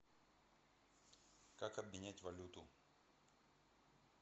как обменять валюту